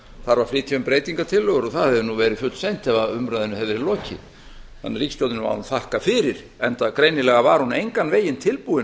þarf að flytja um breytingartillögur það hefði verið fullseint ef umræðunni hefði verið lokið ríkisstjórnin má nú þakka fyrir enda var hún greinilega engan veginn tilbúin